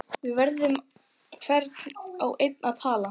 Við hvern á ég að tala?